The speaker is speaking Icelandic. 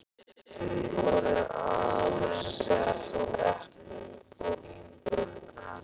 Hún er alsett eplum og vínberjum.